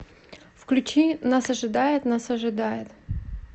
включи нас ожидает нас ожидает